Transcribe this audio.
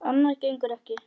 Annað gengur ekki.